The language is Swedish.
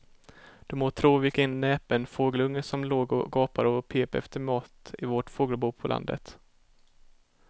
Du må tro vilken näpen fågelunge som låg och gapade och pep efter mat i vårt fågelbo på landet.